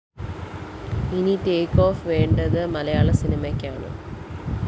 ഇനി take off വേണ്ടത് മലയാള സിനിമയ്ക്കാണ്